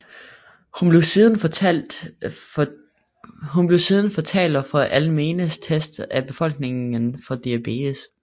Hun blev siden fortaler for almene tests af befolkningen for diabetes